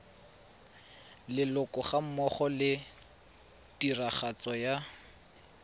leloko gammogo le tiragatso ya